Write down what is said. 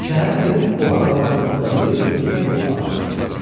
Şəhərə gedib olan qalan pulunu da verib özünə bir at alır.